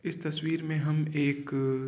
इस तस्वीर में हम एकअ --